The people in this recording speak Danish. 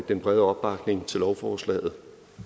den brede opbakning til lovforslaget